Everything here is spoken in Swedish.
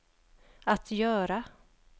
att göra